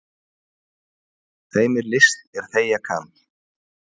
Þeim er list er þegja kann.